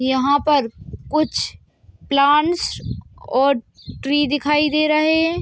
यहाँ पर कुछ प्लांट्स और ट्री दिखाई दे रहे हैं।